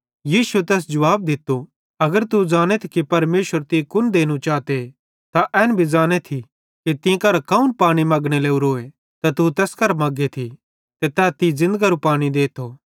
यीशुए तैस जुवाब दित्तो अगर तू ज़ानेथी कि परमेशर तीं कुन देनू चाते त एन भी ज़ानेथी कि तीं करां कौन पानी मगने लोरोए त तू तैस करां मगेथी ते तै तीं ज़िन्दगरू पानी देथो